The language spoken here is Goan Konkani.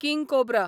king cobra